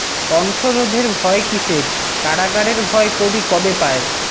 কণ্ঠ রোধের ভয় কিসের কারাগারের ভয় কবি কবে পায়